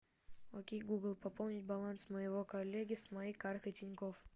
окей гугл пополнить баланс моего коллеги с моей карты тинькофф